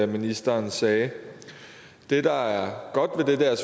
ministeren sagde det der er godt ved det er